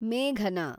ಮೇಘನಾ